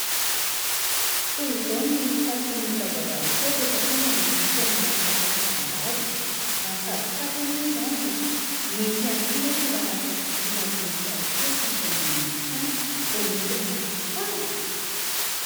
Toy izao ny fitafin'ny zazavavikely rehefa tonga ny fotoana fampakaram-bady, mahafatifaty anie izany. Mety ihany koa anefa raha asiana voninkazo kely tazominy eny amin'ny tanany, vao miha tena tsara.